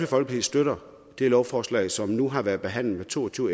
folkeparti støtter det lovforslag som nu har været behandlet med to og tyve